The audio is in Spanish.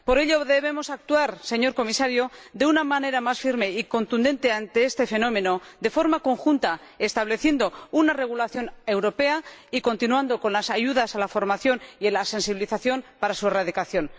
Por ello, debemos actuar, señor Comisario, de una manera más firme y contundente ante este fenómeno, de forma conjunta, estableciendo una regulación europea y continuando con las ayudas a la formación y la sensibilización para su erradicación.